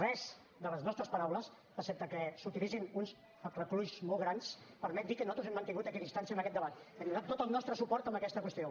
cap de les nostres paraules excepte que s’utilitzin uns aclucalls molt grans permet dir que nosaltres hem mantingut equidistància en aquest debat hem donat tot el nostre suport a aquesta qüestió